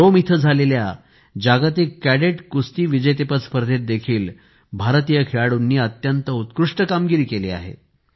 Rome येथे झालेल्या जागतिक कॅडेट कुस्ती विजेतेपद स्पर्धेत देखील भारतीय खेळाडूंनी अत्यंत उत्कृष्ट कामगिरी केली आहे